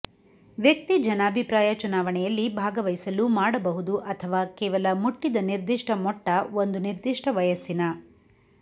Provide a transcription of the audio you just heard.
ವ್ಯಕ್ತಿ ಜನಾಭಿಪ್ರಾಯ ಚುನಾವಣೆಯಲ್ಲಿ ಭಾಗವಹಿಸಲು ಮಾಡಬಹುದು ಅಥವಾ ಕೇವಲ ಮುಟ್ಟಿದ ನಿರ್ದಿಷ್ಟ ಮೊಟ್ಟ ಒಂದು ನಿರ್ದಿಷ್ಟ ವಯಸ್ಸಿನ